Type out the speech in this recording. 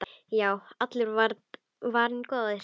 Já, allur var varinn góður!